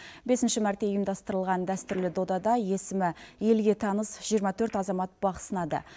бесінші мәрте ұйымдастырылған дәстүрлі додада есімі елге таныс жиырма төрт азамат бақ сынады